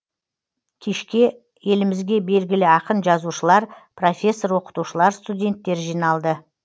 кешке елімізге белгілі ақын жазушылар профессор оқытушылар студенттер жиналды